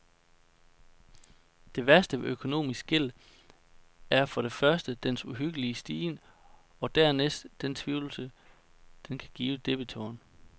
Det værste ved økonomisk gæld er for det første dens uhyggelige stigen og dernæst den fortvivlelse, den kan give debitoren.